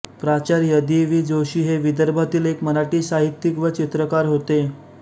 प्राचार्य D V Joshi हे विदर्भातील एक मराठी साहित्यिक व चित्रकार होते